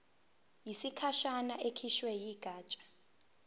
yesikhashana ekhishwe yigatsha